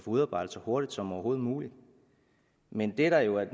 udarbejdet så hurtigt som overhovedet muligt men det der jo er